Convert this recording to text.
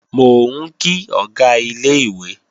Mò ń kí Ọ̀gá ilé-ìwé